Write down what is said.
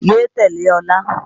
Yé tẹ̀lé Ọlá!